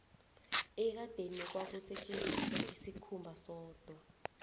ekadeni kwakusetjenziswa isikhumba sodwa